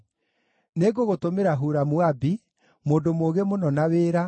“Nĩngũgũtũmĩra Huramu-Abi, mũndũ mũũgĩ mũno na wĩra,